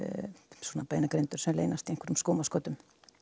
svona beinagrindur sem leynast í einhverjum skúmaskotum